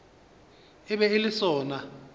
e be e le sona